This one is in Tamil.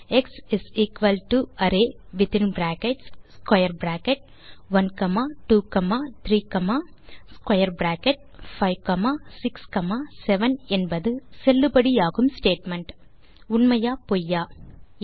X array within brackets square bracket 1 comma 2 comma 3 comma square bracket 5 comma 6 comma 7 என்பது செல்லுபடியாகும் ஸ்டேட்மெண்ட் உண்மையா பொய்யா